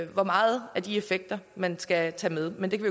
hvor meget af de effekter man skal tage med men det kan